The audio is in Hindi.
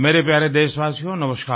मेरे प्यारे देशवासियो नमस्कार